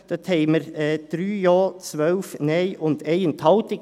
Da haben wir 3 Ja, 12 Nein und 1 Enthaltung.